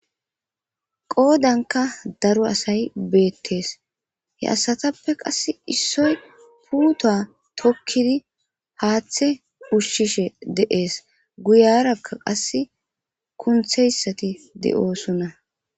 qoodanka daro asay beettees he asatappe qas issoy puuto tokkidi haaththe ushshishe de'ees guyarakka qass kuntheyssati de'oosonna